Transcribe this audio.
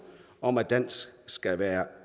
om at dansk skal være